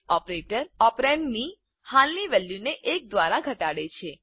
operator ઓપરેન્ડની હાલની વેલ્યુને એક દ્વારા ઘટાડે છે